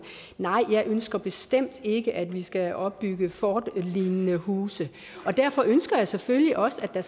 nej jeg ønsker bestemt ikke at vi skal opbygge fortlignende huse derfor ønsker jeg selvfølgelig også at